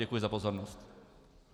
Děkuji za pozornost.